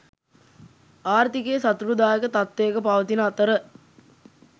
ආර්ථිකය සතුටුදායක තත්ත්වයක පවතින අතර